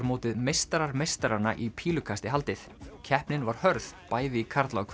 mótið meistarar meistaranna í pílukasti haldið keppnin var hörð bæði í karla og